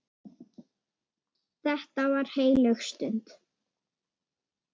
Þetta var heilög stund.